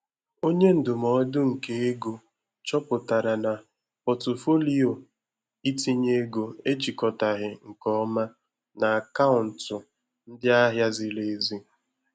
Onye ndụmọdụ nke ego chọpụtara na Pọtụfoliyo itinye ego ejikọtaghị nke ọma na akaụntụ ndị ahịa ziri ezi.